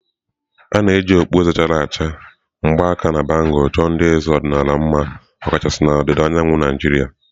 A na-eji okpueze chara acha, mgbaaka na bangulu chọọ ndị eze ọdịnala mma ọkachasị na ndịda ọwụwa anyanwụ Naijiria.